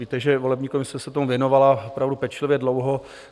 Víte, že volební komise se tomu věnovala opravdu pečlivě, dlouho.